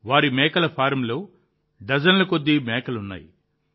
వారి మేకల ఫారంలో డజన్ల కొద్ది మేకలు ఉన్నాయి